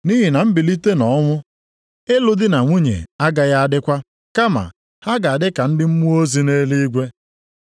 Nʼihi na mbilite nʼọnwụ, ịlụ di na nwunye agaghị adịkwa, kama ha ga-adị ka ndị mmụọ ozi nʼeluigwe.